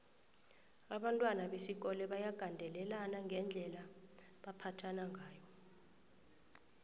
abantwana besikolo bayagandelelana ngendlela abambatha ngayo